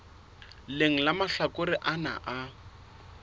leng la mahlakore ana a